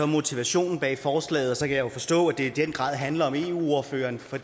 motivationen bag forslaget så jeg jo forstå at det i den grad handler om eu ordføreren for